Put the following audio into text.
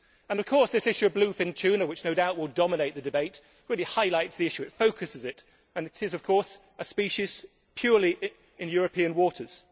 Of course, this issue of bluefin tuna, which no doubt will dominate the debate, really highlights the issue, it focuses it, and it is, of course, a species purely in European waters.